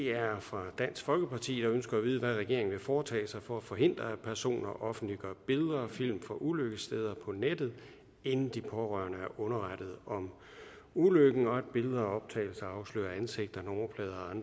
er fra dansk folkeparti som ønsker at vide hvad regeringen vil foretage sig for at forhindre at personer offentliggør billeder og film fra ulykkessteder på nettet inden de pårørende er underrettet om ulykken og at billeder og optagelser afslører ansigter nummerplader